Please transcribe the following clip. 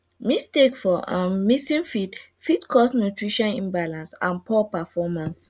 mistake for um mixing feed fit cause nutrition imbalance and poor performance